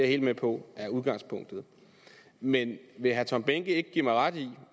helt med på er udgangspunktet men vil herre tom behnke ikke give mig ret i